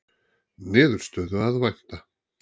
Niðurstöðu að vænta